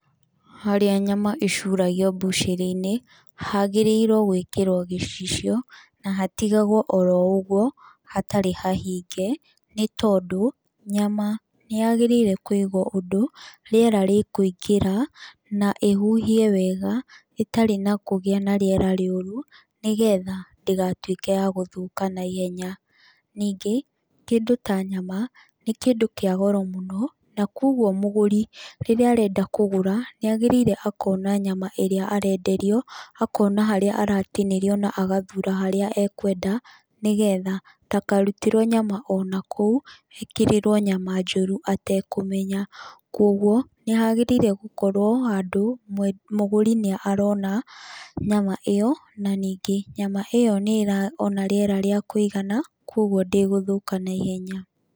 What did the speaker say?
Harĩ nyama ĩcuragio mbucĩrĩ-inĩ, hagĩrĩirwo gwĩkĩrwo gĩcicio, na hatigagwo oro ũguo, hatarĩ hahinge, nĩ tondũ, nyama nĩ yagĩrĩire kũigwo ũndũ, rĩera rĩkũingĩra, na ĩhuhie wega, ĩtarĩ na kũgĩa na rĩera rĩũru, nĩgetha ndĩgatuĩke ya gũthũka naihenya. Ningĩ, kĩndũ ta nyama, nĩ kĩndũ kĩa goro mũno, na kũguo mũgũri, rĩrĩa arenda kũgũra, nĩ agĩrĩire akona nyama ĩrĩa arenderio, akona harĩa aratinĩrio na agathuura harĩa ekwenda, nĩgetha, ndakarutĩrwo nyama onakũu, ekĩrĩrwo nyama njũru atekũmenya. Kũguo, nĩ hagĩrĩire gũkorwo handũ mũgũri nĩ arona, nyama ĩyo, na ningĩ, nyama ĩyo nĩ ĩraona rĩera rĩa kũigana, kũguo ndĩgũthũka naihenya.